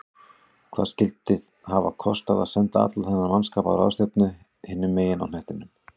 Hvað skyldi hafa kostað að senda allan þennan mannskap á ráðstefnu hinum megin á hnettinum?